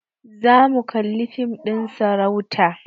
Zamu kalli fim ɗin sarauta